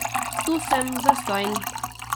Tu sem zastonj.